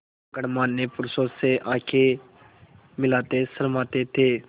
गणमान्य पुरुषों से आँखें मिलाते शर्माते थे